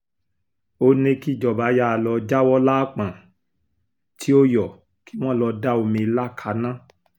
ó ní kíjọba yàà lọ́ọ́ jáwọ́ lápọ́n tí ó yọ kí wọ́n lọ́ọ́ da omi ìlà kaná